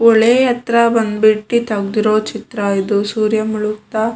ಹೊಳೆ ಹತ್ರ ಬಂದ್ಬಿಟ್ಟಿ ತೆಗ್ದಿರೋ ಚಿತ್ರ ಇದು ಸೂರ್ಯ ಮುಳುಗ್ತಾ --